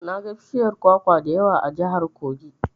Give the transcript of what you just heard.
Naga bishiyar kwakwa da yawa a jihar Kogi.